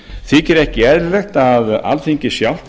þykir ekki eðlilegt að alþingi sjálft